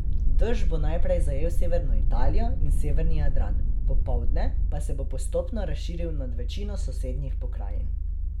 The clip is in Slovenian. Dež bo najprej zajel severno Italijo in severni Jadran, popoldne pa se bo postopno razširil nad večino sosednjih pokrajin.